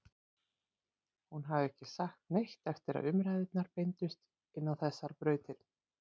Hún hafði ekki sagt neitt eftir að umræðurnar beindust inn á þessar brautir.